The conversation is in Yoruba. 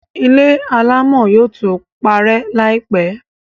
ilé alámọ̀ yóò tó parẹ́ láìpẹ̀.